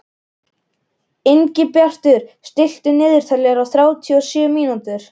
Ingibjartur, stilltu niðurteljara á þrjátíu og sjö mínútur.